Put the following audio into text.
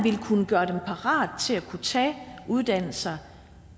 gøre dem parate til at kunne tage uddannelser